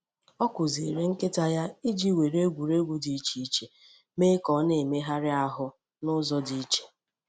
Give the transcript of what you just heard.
Ọ kụziiri nkịta ya iji were egwuregwu dị iche iche mee ka ọ na-emegharị ahụ n'ụzọ dị iche.